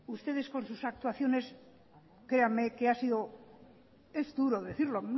ustedes con sus actuaciones créanme que ha sido es duro decirlo